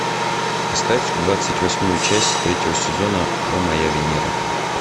поставь двадцать восьмую часть третьего сезона о моя венера